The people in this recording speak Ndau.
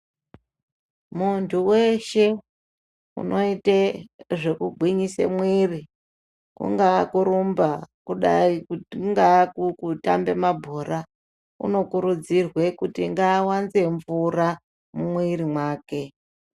Muntu weshe unoite zvekugwinyise mwiri kungaa kurumba, kungaa kutambe mabhora, uno kurudzirwe kuti ngaawanze mvura mumwiri mwake.